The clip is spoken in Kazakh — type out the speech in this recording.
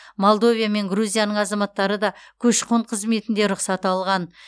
молдовия мен грузияның азаматтары да көші қон қызметінде рұқсат алған